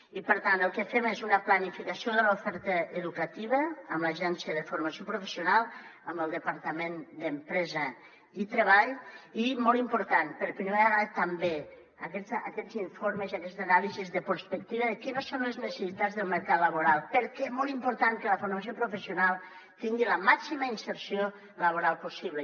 i per tant el que fem és una planificació de l’oferta educativa amb l’agència de formació professional amb el departament d’empresa i treball i molt important per primera vegada també aquests informes i aquestes anàlisis de prospectiva de quines són les necessitats del mercat laboral perquè és molt important que la formació professional tingui la màxima inserció laboral possible